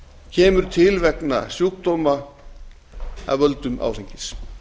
kemur til vegna sjúkdóma af völdum áfengis